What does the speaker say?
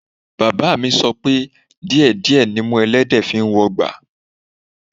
Bàbáà mi sọ pé díẹ̀ díẹ̀ nimú ẹlẹ́dẹ̀ẹ́ fi ń wọgbà